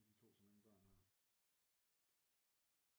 Det er de 2 som ingen børn har